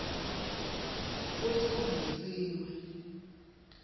futsi kuvutsiwe